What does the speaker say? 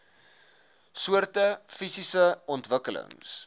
soorte fisiese ontwikkelings